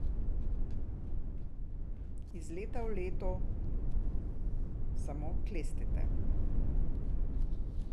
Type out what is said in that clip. Iz leta v leto samo klestite.